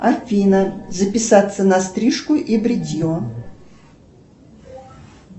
афина записаться на стрижку и бритье